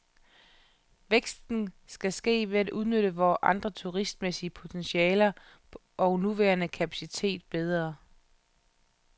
Væksten skal ske ved at udnytte vores andre turistmæssige potentialer og nuværende kapacitet bedre.